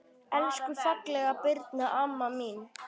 Elsku fallega Birna amma mín.